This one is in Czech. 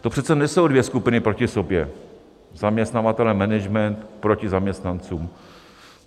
To přece nejsou dvě skupiny proti sobě, zaměstnavatelé, management proti zaměstnancům.